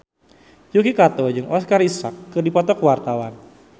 Yuki Kato jeung Oscar Isaac keur dipoto ku wartawan